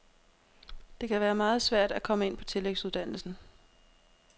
Det kan være meget svært at komme ind på tillægsuddannelsen.